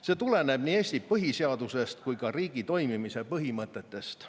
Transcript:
See tuleneb nii Eesti põhiseadusest kui ka riigi toimimise põhimõtetest.